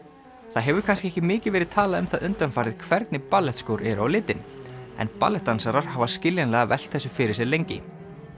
það hefur kannski ekki mikið verið talað um það undanfarið hvernig eru á litinn en hafa skiljanlega velt þessu fyrir sér lengi cira